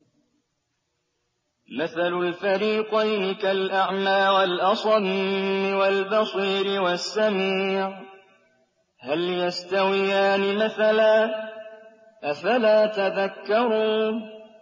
۞ مَثَلُ الْفَرِيقَيْنِ كَالْأَعْمَىٰ وَالْأَصَمِّ وَالْبَصِيرِ وَالسَّمِيعِ ۚ هَلْ يَسْتَوِيَانِ مَثَلًا ۚ أَفَلَا تَذَكَّرُونَ